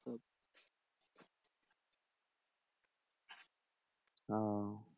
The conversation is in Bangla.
ও